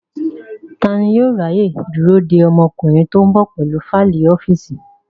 Tani yóò ráyè dúró de ọmọkùnrin tó ń bọ̀ pẹ̀lú fáìlì ọ́fíìsì?